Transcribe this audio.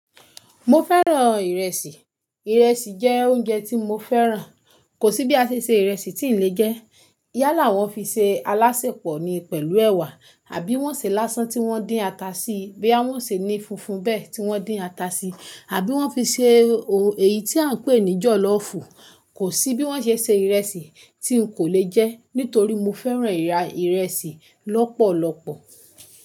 Mo fẹ́ràn ìrẹsì. Ìrẹsì jẹ́ oúnjẹ tí mo fẹ́ràn. Kò sí bí a ṣe se ìrẹsì tí n lè jẹ. Yá là wọ́n fi se alásèpọ̀ ni pẹ̀lú ẹwà, àbí wọ́n sè lásán tí wọ́n dín ata síi, bí à wọ́n sè ní funfun bé tí wọ́n dín ata síi, àbí wọ́n fi ṣe èyí tí a ń pè ní jọ̀lọ́fù. Kò sí bí wọ́n ṣe se ìrẹsì tí n kò lè jẹ́. Nítorí mo fẹ́ràn ìrà ìrẹsì lọ́pọ̀lọpọ̀.